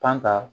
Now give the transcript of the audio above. Panta